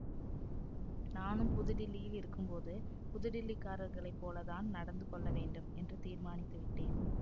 நானும் புதுடில்லியில் இருக்கும்போது புதுடில்லிக்காரர்களைப் போல தான் நடந்து கொள்ளவேண்டும் என்று தீர்மானித்துவிட்டேன்